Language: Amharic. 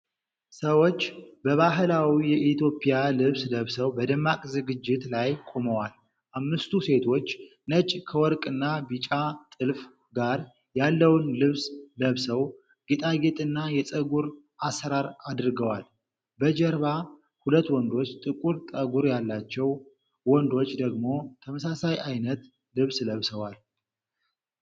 ሰዎች በባህላዊ የኢትዮጵያ ልብስ ለብሰው በደማቅ ዝግጅት ላይ ቆመዋል። አምስቱ ሴቶች ነጭ ከወርቅና ቢጫ ጥልፍ ጋር ያለውን ልብስ ለብሰው፣ ጌጣጌጥና የፀጉር አሠራር አድርገዋል። በጀርባ ሁለት ወንዶች ጥቁር ጠጉር ያላቸው ወንዶች ደግሞ ተመሳሳይ አይነት ልብስ ለብሰዋል።